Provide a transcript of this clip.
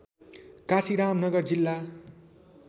काशीराम नगर जिल्ला